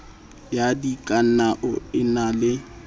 ya dikanao e na le